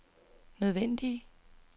nødvendige